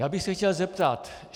Já bych se chtěl zeptat.